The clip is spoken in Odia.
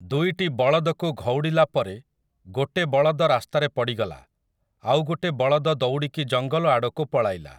ଦୁଇଟି ବଳଦକୁ ଘଉଡ଼ିଲା ପରେ ଗୋଟେ ବଳଦ ରାସ୍ତାରେ ପଡ଼ିଗଲା ଆଉ ଗୋଟେ ବଳଦ ଦୌଡ଼ିକି ଜଙ୍ଗଲ ଆଡ଼କୁ ପଳାଇଲା ।